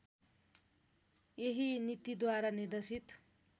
यही नीतिद्वारा निर्देशित